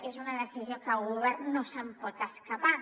és una decisió que el govern no se’n pot escapar